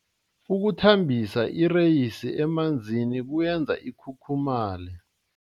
Ukuthambisa ireyisi emanzini kuyenza ikhukhumaye.